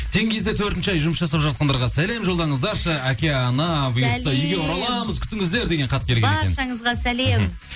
теңгизде төртінші ай жұмыс жасап жатқандарға сәлем жолдаңыздаршы әке ана бұйыртса үйге ораламыз күтіңіздер деген хат келген екен баршаңызға сәлем мхм